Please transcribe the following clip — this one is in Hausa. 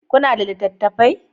Kuna da littattafai